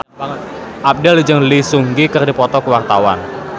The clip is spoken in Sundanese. Abdel jeung Lee Seung Gi keur dipoto ku wartawan